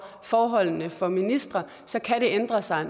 forholdene for ministre så kan det ændre sig